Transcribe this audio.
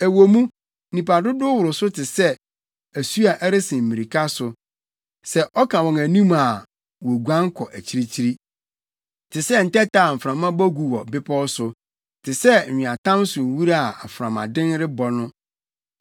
Ɛwɔ mu, nnipa dodow woro so te sɛ, asu a ɛresen mmirika so, sɛ ɔka wɔn anim a woguan kɔ akyirikyiri, te sɛ ntɛtɛ a mframa bɔ gu wɔ bepɔw so te sɛ nweatam so nwura a mframaden rebɔ no.